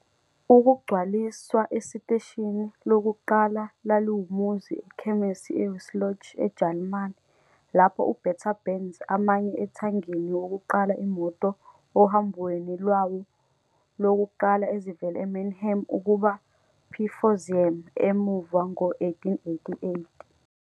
Ukugcwaliswa esiteshini lokuqala laliwumuzi ekhemisi e Wiesloch, eJalimane, lapho u-Bertha Benz amanye ethangini wokuqala imoto ohambweni lwawo lokuqala ezivela Mannheim ukuba Pforzheim emuva ngo-1888.